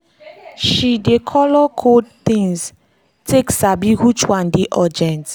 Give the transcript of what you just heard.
she dey color code things take sabi which one dey urgent.